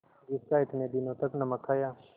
जिसका इतने दिनों तक नमक खाया